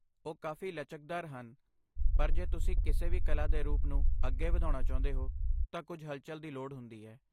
ਉਹ ਕਾਫ਼ੀ ਲਚਕਦਾਰ ਹਨ ਪਰ ਜੇ ਤੁਸੀਂ ਕਿਸੇ ਵੀ ਕਲਾ ਦੇ ਰੂਪ ਨੂੰ ਅੱਗੇ ਵਧਾਉਣਾ ਚਾਹੁੰਦੇ ਹੋ ਤਾਂ ਕੁਝ ਹਲਚਲ ਦੀ ਲੋੜ ਹੁੰਦੀ ਹੈ।